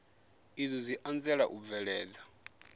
izwi zwi anzela u bveledza